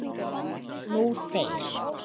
Nú þeir.